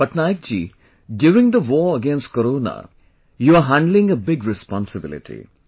Patnaik ji, during the war against corona you are handling a big responsibility